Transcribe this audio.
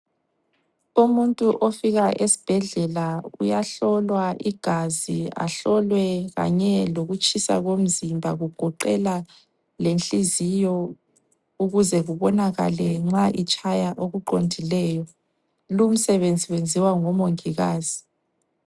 Umuntu ofika esibhedlela uyahlolwa igazi ahlolwe kanye lokutshisa komzimba kugoqela lenhliziyo ukuze kubonakale nxa itshaya okuqondileyo. Lumsebenzi wenziwa ngomongikazi.